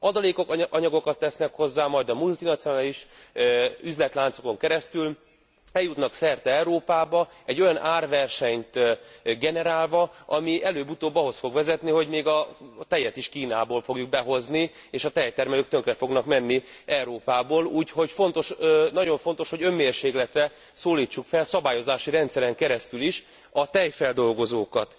Adalékanyagokat tesznek hozzá, majd a multinacionális üzletláncokon keresztül eljutnak szerte Európába egy olyan árversenyt generálva, ami előbb utóbb ahhoz fog vezetni, hogy még a tejet is Kínából fogjuk behozni, és a tejtermelők tönkre fognak menni Európában, úgyhogy nagyon fontos, hogy önmérsékletre szólítsuk fel a szabályozási rendszeren keresztül is a tejfeldolgozókat.